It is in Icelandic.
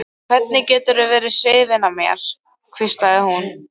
Hvernig geturðu verið hrifinn af mér? hvíslaði hún.